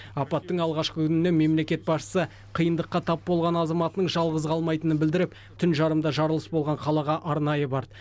апаттың алғашқы күнінен мемлекет басшысы қиындыққа тап болған азаматының жалғыз қалмайтынын білдіріп түн жарымда жарылыс болған қалаға арнайы барды